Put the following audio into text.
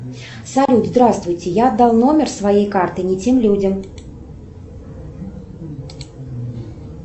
салют здравствуйте я дал номер своей карты не тем людям